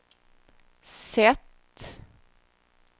sätt